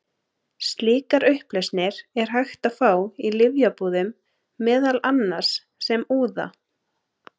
Slíkar upplausnir er hægt að fá í lyfjabúðum, meðal annars sem úða.